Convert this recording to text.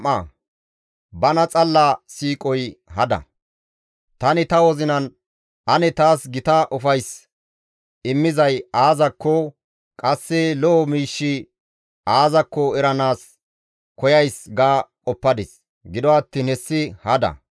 Tani ta wozinan, «Ane taas gita ufays immizay aazakko, qasse lo7o miishshi aazakko eranaas koyays» ga qoppadis; gido attiin hessi hada.